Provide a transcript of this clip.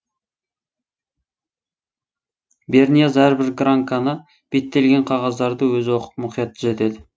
бернияз әрбір гранканы беттелген қағаздарды өзі оқып мұқият түзетеді